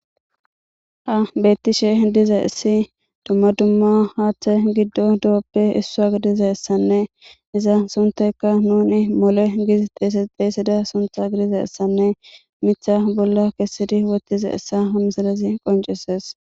Ha beeththishe dizayssi dumma dumma haaththee giddon do7appe issuwa gidizayssanne iza sunththaykka nuuni mole giidi xeesida sunththa gidizayssanne miththa bolla kessidi woththizayssa ha misilezi qonccisses.